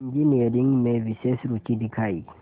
engineering में विशेष रुचि दिखाई